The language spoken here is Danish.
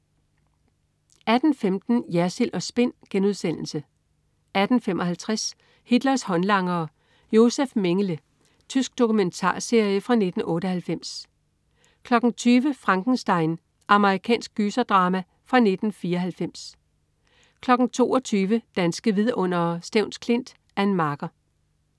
18.15 Jersild & Spin* 18.55 Hitlers håndlangere. Josef Mengele. Tysk dokumentarserie fra 1998 20.00 Frankenstein. Amerikansk gyserdrama fra 1994 22.00 Danske vidundere: Stevns Klint. Ann Marker